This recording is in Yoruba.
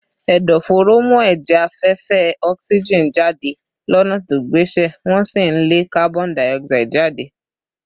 Ẹ̀dọ̀fóró ń mú ẹ̀jẹ̀ afẹ́fẹ́ oxygen jáde lọ́nà tó gbéṣẹ́, wọ́n sì ń lé carbon dioxide jáde